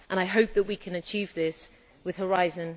I hope that we can achieve this with Horizon